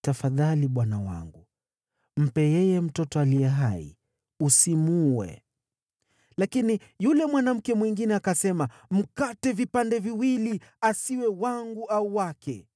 “Tafadhali, bwana wangu, mpe yeye mtoto aliye hai! Usimuue!” Lakini yule mwanamke mwingine akasema, “Mkate vipande viwili. Asiwe wangu au wake!”